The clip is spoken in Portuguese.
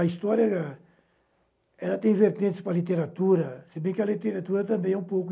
A história ela tem vertentes com a literatura, se bem que a literatura também é um pouco...